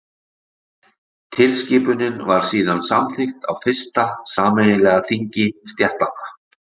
Tilskipunin var síðan samþykkt á fyrsta sameiginlega þingi stéttanna.